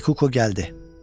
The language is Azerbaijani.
Kikuko gəldi.